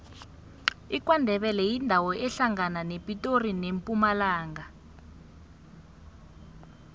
ikwandebele yindawo ehlangana nepitori nempumalanga